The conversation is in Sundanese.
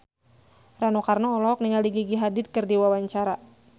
Rano Karno olohok ningali Gigi Hadid keur diwawancara